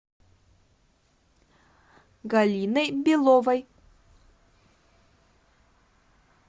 галиной беловой